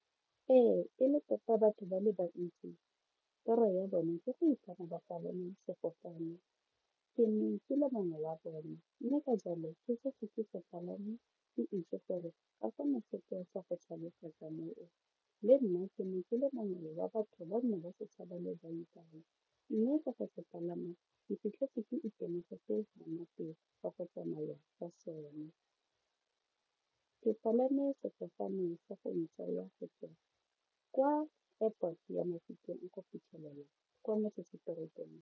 Ee e le tota batho ba le bantsi toro ya bone ke go ipona ba palame sefofane, ke ne ke le mongwe la bone mme ka jalo ke setse ke palame itse gore le nna ke ne ke le mongwe wa batho ba nne ba se thhaba le lebaibai mme ka go se palama ke fitlhetse ke itemogetse monate wa go tsamaya ka sone ke palame sefofane sa go ntsaya lgo tswa kwa airport ya Mafikeng go fitlhelela kwa motsesetoropong.